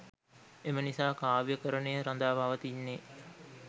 එම නිසා කාව්‍යකරණය රඳා පවතින්නේ